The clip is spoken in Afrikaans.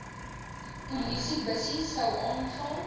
polisiebussie sou aanval